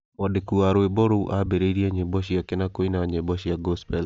Mwandĩki wa rwĩmbo rũu aambĩrĩirie nyĩmbo ciake na kũina nyĩmbo cia gospel.